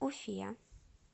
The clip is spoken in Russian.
уфе